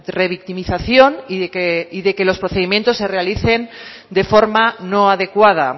revictimización y de que los procedimientos se realicen de forma no adecuada